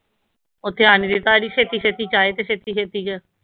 ਉਹ ਧਿਆਨ ਨੀ ਦਿੱਤਾ ਅਸੀਂ ਛੇਤੀ ਛੇਤੀ ਚ ਆਏ ਤੇ ਛੇਤੀ ਛੇਤੀ ਚ